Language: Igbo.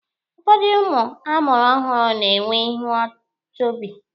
Ụfọdụ ụmụ a mụrụ ọhụrụ na-enwe ihu chọbị.